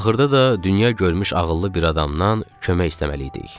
Axırda da dünya görmüş ağıllı bir adamdan kömək istəməliydik.